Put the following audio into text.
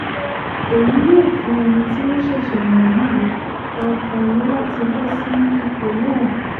èyí yóò fún ẹni tí wọ́n ṣẹ̀ṣẹ̀ yàn yìí àǹfààní láti bọ́ sí ipò náà